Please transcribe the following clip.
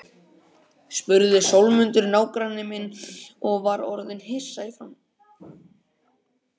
spurði Sólmundur nágranni minn og var orðinn hissa í framan.